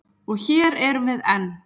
Og hér erum við enn.